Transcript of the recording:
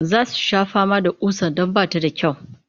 Za su sha fama da ƙusar don ba ta da kyau